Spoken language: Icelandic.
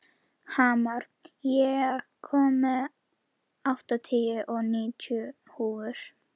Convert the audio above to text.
Hamar, ég kom með áttatíu og níu húfur!